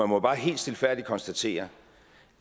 må bare helt stilfærdigt konstatere